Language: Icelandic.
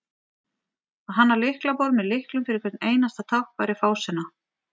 að hanna lyklaborð með lyklum fyrir hvert einasta tákn væri fásinna